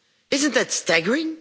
Isn't that staggering?